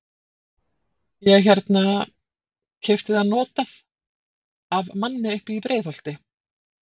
Ég hérna. keypti það notað. af manni uppi í Breiðholti.